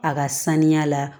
A ka saniya la